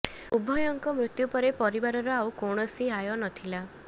ଉଭୟଙ୍କ ମୃତ୍ୟୁ ପରେ ପରିବାରର ଆଉ କୌଣସି ଆୟ ନଥିଲା